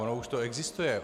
Ono už to existuje.